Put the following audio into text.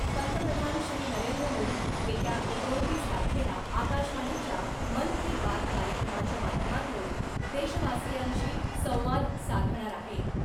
पंतप्रधान श्री नरेंद्र मोदी , येत्या एकोणतीस तारखेला आकाशवाणीच्या मन की बात कार्यक्रमाच्या माध्यमातून देशवासियांशी संवाद साधणार आहेत .